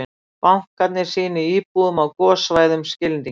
Bankarnir sýni íbúum á gossvæðum skilning